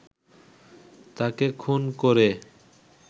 তাকে খুন করে